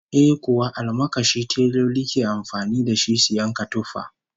Eh kuwa, almakashi teloli ke amfani da shi su yanka tufa